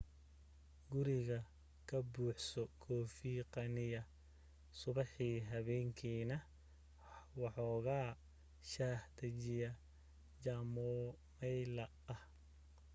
guriga ka buuxso kafee qaniya subaxii habeenkiina waxooga shaah dajiye jamomayla ah